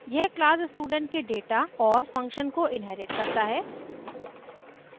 यह class student के data और function को inherits करता है